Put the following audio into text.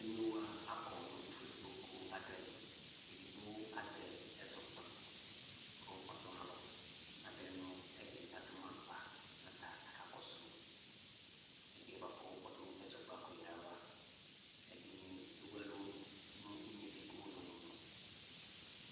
Emlowa akɔ nu efʊedigbo ku adu ɛdi edigbo azɛ ɛzɔkpako ku ɔtɔnalɔ natenʊ ɛdi adi ma kpa ata akakɔsu ̂ ɛdiyɛ ɔdu ɛzɔkpako ava ɛdini ewu ɛlu nu unedi ƙʊ unamumu